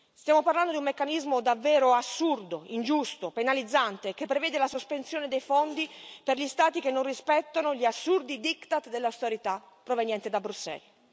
Stiamo parlando di un meccanismo davvero assurdo, ingiusto, penalizzante, che prevede la sospensione dei fondi per gli Stati che non rispettano gli assurdi diktat dell'austerità proveniente da Bruxelles.